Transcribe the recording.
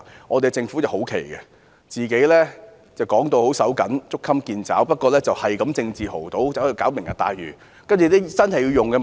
我們的政府很奇怪，經常稱財政緊絀、捉襟見肘，不過卻政治豪賭，搞"明日大嶼"計劃。